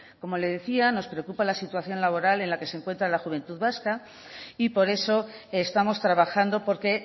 como le decía nos preocupa la situación laboral en la que se encuentra la juventud vasca y por eso estamos trabajando porque